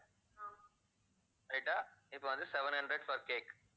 right ஆ இப்ப வந்து seven hundred for cake